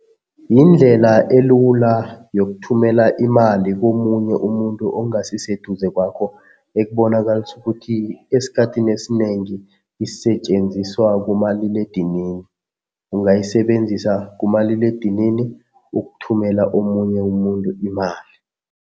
Yindlela elula yokuthumela imali komunye umuntu ongasiseduze kwakho ekubonakalisa ukuthi esikhathini esinengi isetjenziswa kumaliledinini. Ungayisebenzisa kumaliledinini ukuthumela omunye umuntu imali.